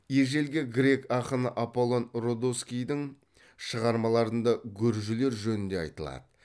ежелгі грек ақыны аполлон родоскийдің шығармаларында гүржілер жөнінде айтылады